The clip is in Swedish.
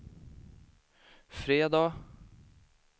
fredag